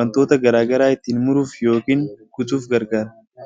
wantoota gara garaa ittiin muruuf yookaan kutuuf gargaara.